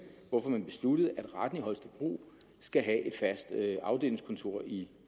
hvorfor man besluttede at retten i holstebro skal have et fast afdelingskontor i